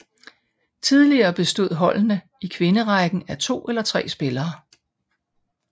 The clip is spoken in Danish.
Tidligere bestod holdene i kvinderækken af 2 eller 3 spillere